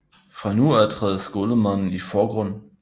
Fra nu af træder skolemanden i forgrunden